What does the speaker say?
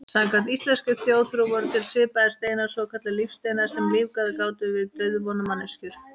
Samkvæmt íslenskri þjóðtrú voru til svipaðir steinar, svokallaðir lífsteinar, sem lífgað gátu við dauðvona manneskjur.